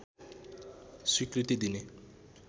स्वीकृति दिने